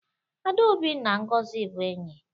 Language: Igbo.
adaobi na ngozi bu enyi